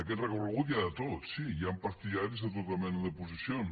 aquest recorregut hi ha de tot sí hi ha partidaris de tota mena de posicions